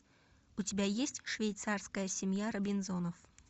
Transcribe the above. у тебя есть швейцарская семья робинзонов